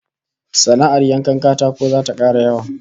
Sana'ar yankan katako zata kara yawa